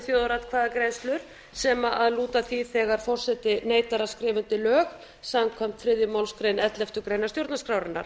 þjóðaratkvæðagreiðslur sem lúta að því þegar forseti neitar að skrifa undir lög samkvæmt þriðju málsgrein elleftu grein stjórnarskrárinnar